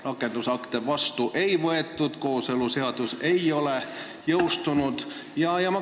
Rakendusakte vastu ei ole võetud, kooseluseadus ei ole jõustunud.